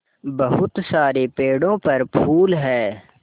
बहुत सारे पेड़ों पर फूल है